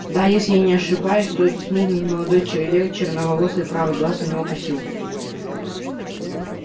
да если я не ошибаюсь то это смуглый молодой человек черноволосый правый глаз у него косил